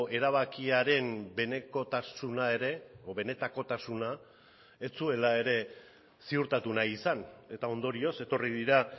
erabakiaren benekotasuna ere edo benetakotasuna ez zuela ere ziurtatu nahi izan eta ondorioz etorri dira